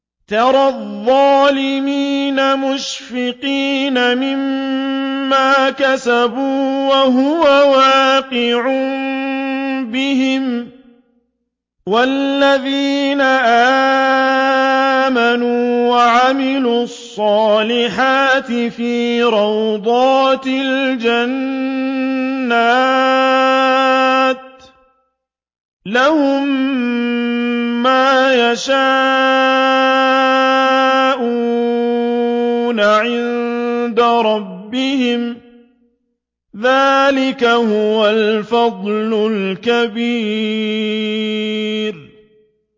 تَرَى الظَّالِمِينَ مُشْفِقِينَ مِمَّا كَسَبُوا وَهُوَ وَاقِعٌ بِهِمْ ۗ وَالَّذِينَ آمَنُوا وَعَمِلُوا الصَّالِحَاتِ فِي رَوْضَاتِ الْجَنَّاتِ ۖ لَهُم مَّا يَشَاءُونَ عِندَ رَبِّهِمْ ۚ ذَٰلِكَ هُوَ الْفَضْلُ الْكَبِيرُ